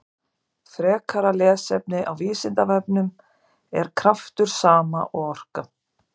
Frekara lesefni á Vísindavefnum: Er kraftur sama og orka?